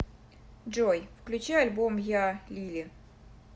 джой включи альбом я лили